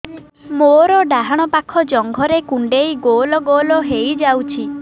ମୋର ଡାହାଣ ପାଖ ଜଙ୍ଘରେ କୁଣ୍ଡେଇ ଗୋଲ ଗୋଲ ହେଇଯାଉଛି